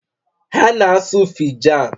Ha na-asu Fijan